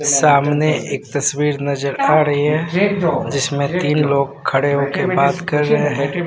सामने एक तस्वीर नजर आ रही है जिसमें तीन लोग खड़े होके बात कर रहे हैं।